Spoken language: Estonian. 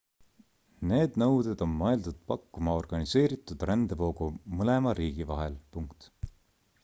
need nõuded on mõeldud pakkuma organiseeritud rändevoogu mõlema riigi vahel